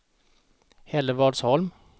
Hällevadsholm